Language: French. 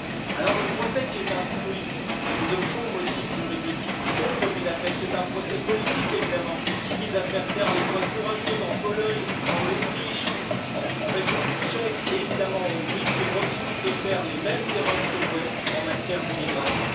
Alors le procès qui est instruit, sur de faux motifs juridiques, contre Budapest, c'est un procès politique évidemment, qui vise à faire taire les voix courageuses en Pologne, en Autriche, en République tchèque et évidemment en Hongrie, qui refusent de faire les mêmes erreurs que l'Ouest en matière d'immigration.